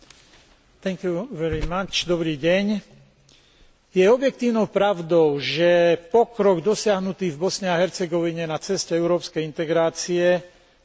Je objektívnou pravdou, že pokrok dosiahnutý v Bosne a Hercegovine na ceste európskej integrácie značne zaostáva za ďalšími štátmi v regióne.